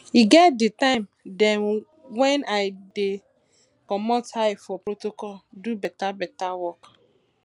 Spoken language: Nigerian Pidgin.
e get di time dem wen i dey comot eye for protocol do beta beta work